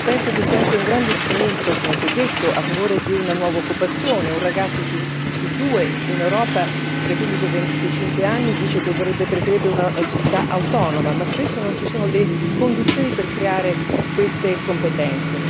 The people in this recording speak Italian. Penso che sia anche un grande strumento, come si è detto, a favore di una nuova occupazione un ragazzo su due in Europa, fra i 15 e 25 anni, dice che preferirebbe un'attività autonoma, ma spesso non ci sono le condizioni per creare queste competenze.